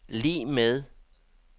lig med